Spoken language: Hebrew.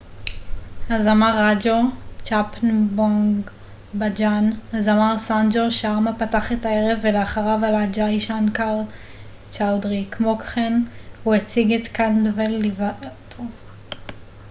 הזמר סאנג'ו שארמה פתח את הערב ולאחריו עלה ג'אי שנקר צ'אודרי כמו כן הוא הציג את chhappan bhog bhajan הזמר ראג'ו קנדלוואל ליווה אותו